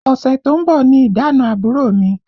Ọṣẹ tó ń bọ̀ ni ìdána àbúrò mi